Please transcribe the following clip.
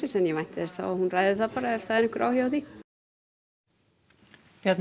en ég vænti þess að hún ræði það ef það er einhver áhugi á því Bjarni